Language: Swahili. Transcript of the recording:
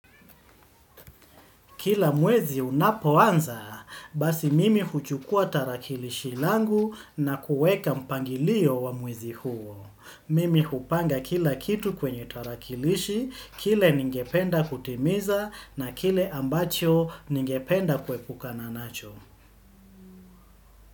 Kila mwezi unapoanza, basi mimi huchukua tarakilishi langu na kuweka mpangilio wa mwezi huo. Mimi hupanga kila kitu kwenye tarakilishi, kile ningependa kutimiza na kile ambacho ningependa kuepukana nacho.